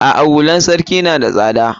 A'a hular sarki na da tsada.